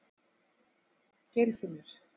Geirfinnur